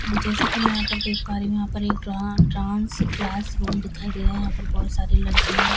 हां जैसा कि मैं यहां पर देख पा रही हूं यहां पर एक डांस क्लासरूम दिखाई दे रहा है यहां पर बहुत सारी लड़किया--